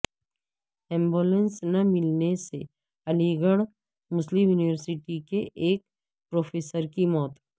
ambulance نہ ملنے سے علی گڑھ مسلم یونیورسٹی کے ایک پروفیسر کی موت